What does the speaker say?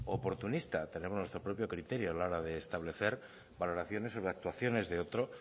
oportunista tenemos nuestro propio criterio a la hora de establecer valoraciones sobre actuaciones de otro